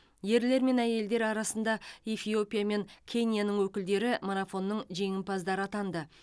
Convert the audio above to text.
ерлер мен әйелдер арасында эфиопия мен кенияның өкілдері марафонның жеңімпаздары атанды